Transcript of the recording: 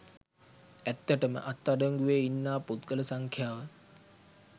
ඇත්තටම අත් අඩංගුවේ ඉන්නා පුද්ගල සංඛ්‍යාව